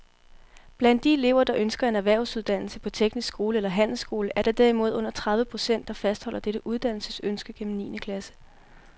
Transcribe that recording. Blandt de elever, der ønsker en erhvervsuddannelse på teknisk skole eller handelsskole, er der derimod under tredive procent, der fastholder dette uddannelsesønske gennem niende klasse.